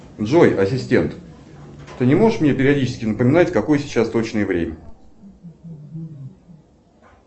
джой ассистент ты не можешь мне периодически напоминать какое сейчас точное время